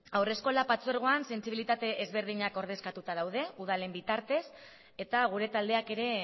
haurreskolak patzuergoan sentsibilitate ezberdinak ordezkatuta daude udalen bitartez eta gure taldeak ere